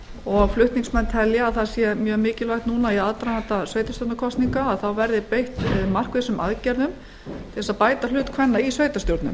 og flutningsmenn telja að það sé mjög mikilvægt nú í aðdraganda sveitarstjórnarkosninga að beitt verði markvissum aðgerðum til að bæta hlut kvenna í sveitarstjórnum